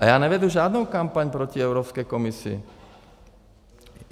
A já nevedu žádnou kampaň proti Evropské komisi.